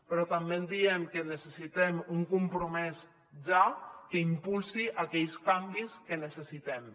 però també diem que necessitem un compromès ja que impulsi aquells canvis que necessitem